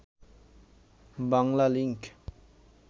Banglalink